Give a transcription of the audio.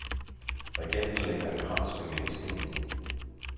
Regenten lægger en krans ved mindestenen.